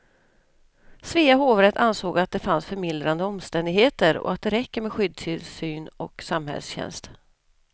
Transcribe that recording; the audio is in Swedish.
Svea hovrätt ansåg att det fanns förmildrande omständigheter och att det räcker med skyddstillsyn och samhällstjänst.